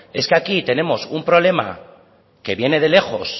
es que aquí tenemos un problema que viene de lejos